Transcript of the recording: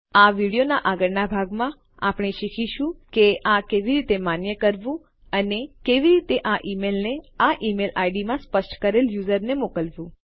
આ વિડીયોનાં આગળનાં ભાગમાં આપણે શીખીશું કે આ કેવી રીતે માન્ય કરવું અને કેવી રીતે આ ઈમેલને આ ઈમેલ આઈડી માં સ્પષ્ટ કરેલ યુઝરને મોકલવું